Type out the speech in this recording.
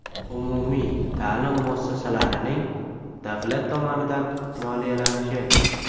Umumiy ta’lim muassasalarining davlat tomonidan moliyalanishi.